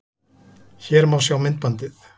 Hér má sjá myndbandið